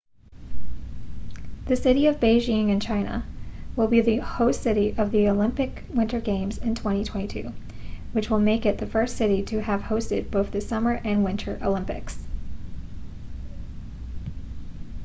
the city of beijing in china will be the host city of the olympic winter games in 2022 which will make it the first city to have hosted both the summer and winter olympics